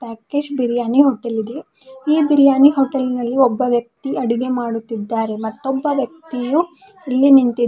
ಪಕ್ಕೇಶ್ biryani hotel ಇದೆ ಈ biryani hotel ನಲ್ಲಿ ಒಬ್ಬ ವ್ಯಕ್ತಿ ಅಡುಗೆ ಮಾಡುತ್ತಿದ್ದಾರೆ ಮತ್ತು ಒಬ್ಬ ವ್ಯಕ್ತಿಯು ಇಲ್ಲಿ ನಿಂತಿದ್ದಾ--